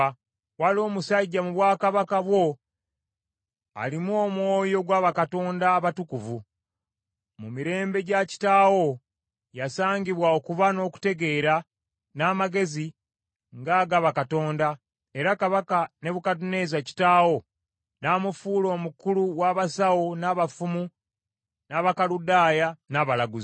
Waliwo omusajja mu bwakabaka bwo alimu omwoyo gwa bakatonda abatukuvu. Mu mirembe gya kitaawo yasangibwa okuba n’okutegeera, n’amagezi, ng’aga bakatonda, era Kabaka Nebukadduneeza kitaawo, n’amufuula omukulu w’abasawo, n’abafumu, n’Abakaludaaya, n’abalaguzi.